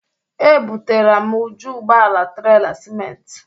Ebutara m uju ụgbọala trela siment.